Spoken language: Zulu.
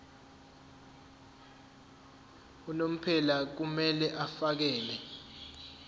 unomphela kumele afakele